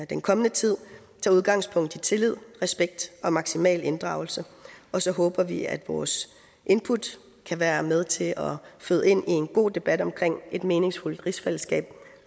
den kommende tid tager udgangspunkt i tillid respekt og maksimal inddragelse og så håber vi at vores input kan være med til føde ind i en god debat om et meningsfuldt rigsfællesskab